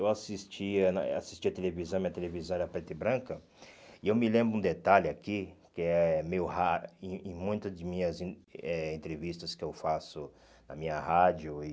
Eu assistia na eh assistia televisão, minha televisão era preta e branca, e eu me lembro um detalhe aqui, que é meio raro, em em muitas de minhas en eh entrevistas que eu faço na minha rádio e...